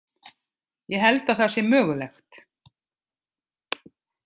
Ég held að það sé mögulegt.